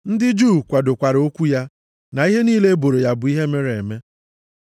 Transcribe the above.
Ndị Juu kwadokwara okwu ya, na ihe niile e boro ya, bụ ihe mere eme.